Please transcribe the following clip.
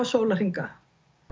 sólarhringa